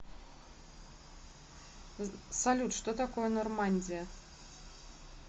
салют что такое нормандия